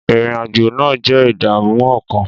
Ìrìn-àjò náà jẹ́ ìdààmú ọkàn.